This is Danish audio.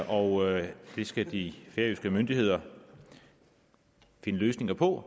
og det skal de færøske myndigheder finde løsninger på